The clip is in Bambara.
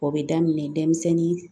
O bɛ daminɛ denmisɛnnin